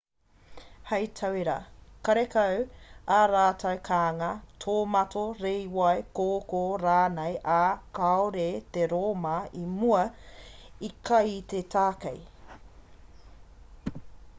hei tauira karekau ā rātou kānga tōmato rīwai kōkō rānei ā kāore te rōma o mua i kai i te tākei